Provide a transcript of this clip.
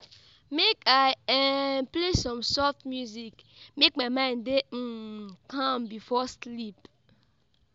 Make I um play some soft music, make my mind dey um calm before sleep.